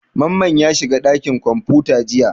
Mamman ya shiga ɗakin kwamfuta jiya.